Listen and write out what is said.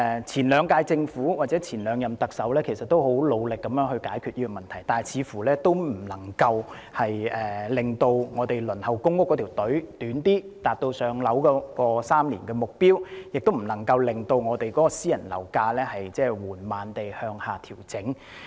前兩屆政府或前兩任特首也很努力地解決這個問題，但似乎仍未能縮短現時輪候公營房屋的隊伍，達致3年獲編配公屋的目標，亦不能令私人樓宇樓價緩慢地向下調整。